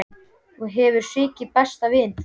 Þú hefur svikið besta vin þinn.